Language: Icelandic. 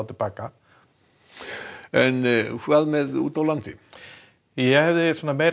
til baka en úti á landi ég hef meiri